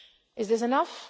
Is this enough?